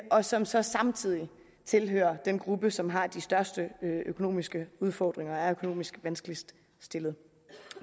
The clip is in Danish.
og som så samtidig tilhører den gruppe som har de største økonomiske udfordringer og er økonomisk vanskeligst stillet